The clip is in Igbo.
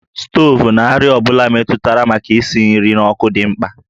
Stovu na àrịá ọ bụla metụtara maka isi nri n'ọkụ dị mkpa